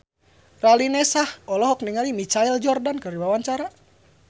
Raline Shah olohok ningali Michael Jordan keur diwawancara